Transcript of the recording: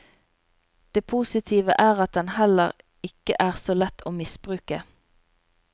Det positive er at den heller ikke er så lett å misbruke.